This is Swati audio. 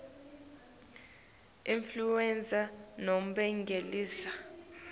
influenza nobe ngeligama